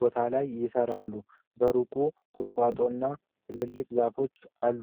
ቦታ ላይ ይሠራሉ። በሩቅ ቁጥቋጦና ትልልቅ ዛፎች አሉ።